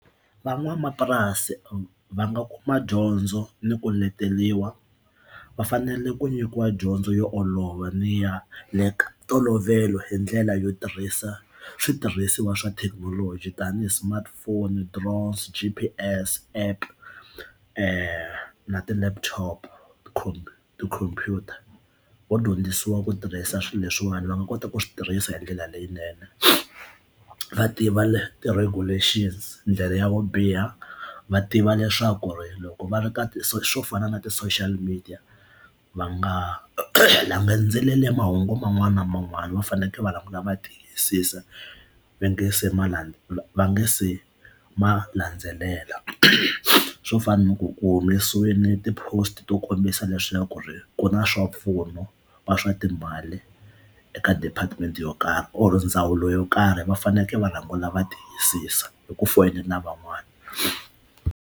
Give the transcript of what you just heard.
Van'wamapurasi va nga kuma dyondzo ni ku leteriwa va fanele ku nyikiwa dyondzo yo olova ni ya le ntolovelo hi ndlela yo tirhisa switirhisiwa swa thekinoloji tanihi smartphone drones G_P_S app na ti laptop khomp computer vo dyondzisiwa ku tirhisa swilo leswiwani va nga kota ku swi tirhisa hi ndlela leyinene va tiva ti-regulations ndlela ya vo biha va tiva leswaku loko va ri ka ti so swo fana na ti social media va nga landzeleli mahungu man'wana na man'wana va faneleke va languta va tiyisisa va nga se ma la va nga se ma landzelela swo fana na ku ku humesiwe ni ti-post to kombisa leswaku ku ri ku na swa mpfuno wa swa timali eka department yo karhi or ndzawulo yo karhi va fanekele va rhangela va tiyisisa hi ku foyinela van'wani.